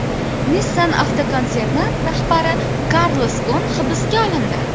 Nissan avtokonserni rahbari Karlos Gon hibsga olindi.